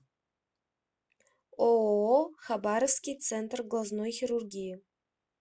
ооо хабаровский центр глазной хирургии